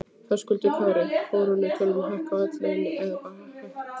Höskuldur Kári: Krónutöluhækkun á öll laun eða bara lægstu?